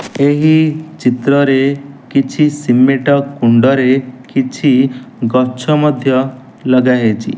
ଏହି ଚିତ୍ରରେ କିଛି ସିମେଟ କୁଣ୍ଡରେ କିଛି ଗଛ ମଧ୍ୟ ଲଗାଯାଇଚି।